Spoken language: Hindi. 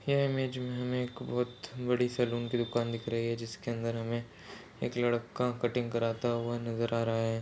यह इमेज में एक बोहत बड़ी सलून की दुकान दिख रही है जिसके अंदर हमे एक लड़का कटिंग कराता हुआ नज़र आ रहा है।